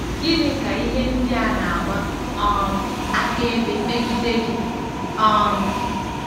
Gịnị ka ihe ndị a na-agba um akaebe megide gị? um